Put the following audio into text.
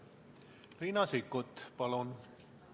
Riina Sikkut, palun!